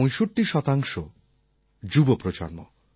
৬৫ শতাংশ যুব প্রজন্ম